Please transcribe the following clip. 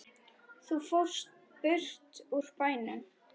Þú fórst burt úr bænum.